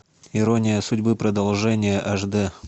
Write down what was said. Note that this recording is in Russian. ирония судьбы продолжение аш дэ